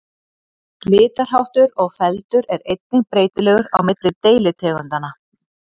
Litarháttur og feldur er einnig breytilegur á milli deilitegundanna.